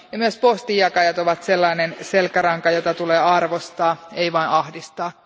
Myös postinjakajat ovat sellainen selkäranka, jota tulee arvostaa, ei vaan ahdistaa.